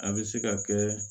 A bɛ se ka kɛ